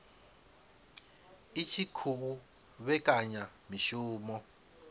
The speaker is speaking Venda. i tshi khou vhekanya mishumo